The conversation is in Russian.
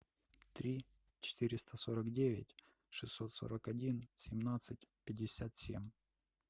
три четыреста сорок девять шестьсот сорок один семнадцать пятьдесят семь